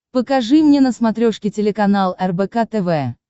покажи мне на смотрешке телеканал рбк тв